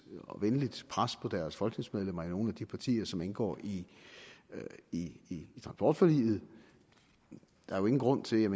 og venligt pres på deres folketingsmedlemmer i nogle af de partier som indgår i i transportforliget der er jo ingen grund til